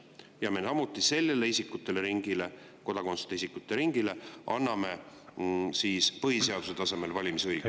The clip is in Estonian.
Ja me sellele isikuteringile, kodakondsuseta isikute ringile, anname põhiseaduse tasemel valimisõiguse.